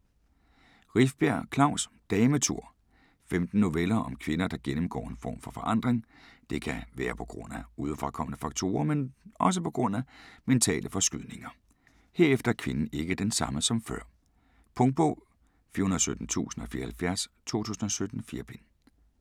Rifbjerg, Klaus: Dametur Femten noveller om kvinder, der gennemgår en form for forandring. Det kan være pga. udefrakommende faktorer, men også pga. mentale forskydninger. Herefter er kvinden ikke den samme som før. Punktbog 417074 2017. 4 bind.